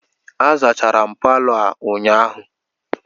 A zachara m Palọ a ụnyahụ